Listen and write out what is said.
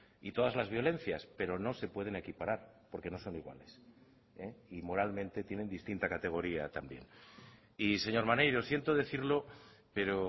y todas las violencias pero no se pueden equiparar porque no son iguales y moralmente tienen distinta categoría también y señor maneiro siento decirlo pero